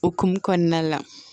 Okumu kɔnɔna la